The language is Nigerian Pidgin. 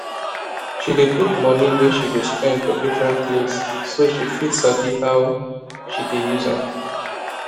she dey put money wey she go spend for different place so she fit sabi how she dey use am